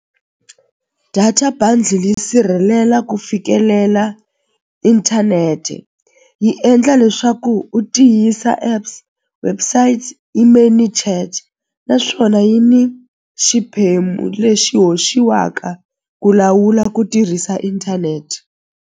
Data bundle yi sirhelela ku fikelela inthanete yi endla leswaku u tiyisa apps websites naswona yi ni xiphemu lexi hoxiwaka ku lawula ku tirhisa inthanete.